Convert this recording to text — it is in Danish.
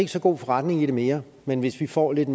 så god forretning i det mere men hvis vi får lidt